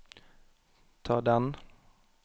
ta den